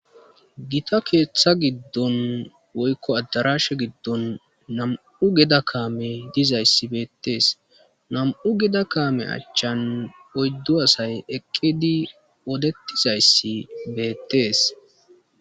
Gita keeththa giddon woykko addaraashe giddon nam7u geda kaame dizayssi beettees nam7u geda kaame achchan oyddo asay eqqidi odetizayssi beettees.